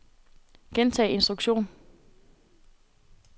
gentag instruktion